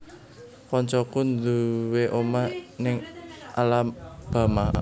Koncoku nduwe omah ning Alabama